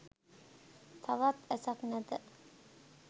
තවත් ඇසක් නැත.